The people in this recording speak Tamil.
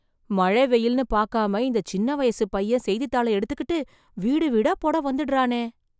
மழை வெயில்னு பாக்காம இந்த சின்ன வயசுப் பையன் செய்தித்தாள எடுத்துகிட்டு வீடு வீடா போட வந்துடறானே...